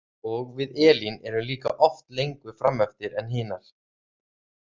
Og við Elín erum líka oft lengur frameftir en hinar.